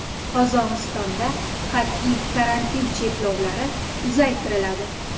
Qozog‘istonda qat’iy karantin chekovlari uzaytiriladi.